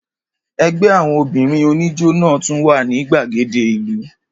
Ẹgbẹ́ àwọn obìnrin oníjó náà tún wà ní gbàgede ìlú.